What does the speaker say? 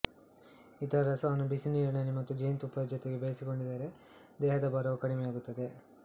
ಇದುರ ರಸವನ್ನು ಬಿಸಿ ನೀರಿನಲ್ಲಿ ಮತ್ತು ಜೇನಿನತ್ತುಪ್ಪದ ಜೋತೆಗೆ ಬೆರೆಸಿ ಕೊಡಿದರೆ ದೇಹದ ಭಾರವು ಕಡಿಮೆ ಯಾಗುತ್ತದೆ